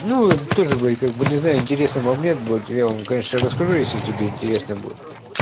ну тоже блять как бы не знаю интересный момент будет я вам конечно расскажу если тебе интересно будет